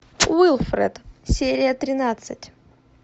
уилфред серия тринадцать